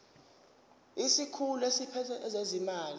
isikhulu esiphethe ezezimali